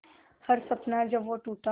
हर सपना जब वो टूटा